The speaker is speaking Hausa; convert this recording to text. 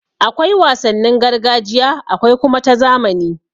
Akwai wasannin gargajiya akwai kuma ta zamani.